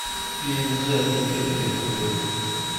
имз архитектор и художник